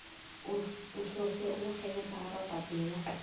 uhlose ukurhelebha ababhadela